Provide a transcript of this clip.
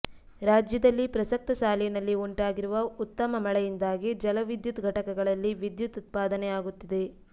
ರಾಜ್ಯದಲ್ಲಿ ಪ್ರಸಕ್ತ ಸಾಲಿನಲ್ಲಿ ಉಂಟಾಗಿರುವ ಉತ್ತಮ ಮಳೆಯಿಂದಾಗಿ ಜಲವಿದ್ಯುತ್ ಘಟಕಗಳಲ್ಲಿ ವಿದ್ಯುತ್ ಉತ್ಪಾದನೆಯಾಗುತ್ತಿದೆ